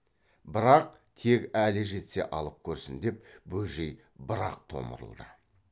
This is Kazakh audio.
бірақ тек әлі жетсе алып көрсін деп бөжей бір ақ томырылды